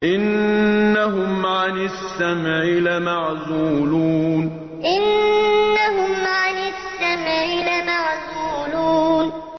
إِنَّهُمْ عَنِ السَّمْعِ لَمَعْزُولُونَ إِنَّهُمْ عَنِ السَّمْعِ لَمَعْزُولُونَ